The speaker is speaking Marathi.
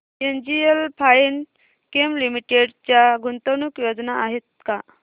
एनजीएल फाइनकेम लिमिटेड च्या गुंतवणूक योजना आहेत का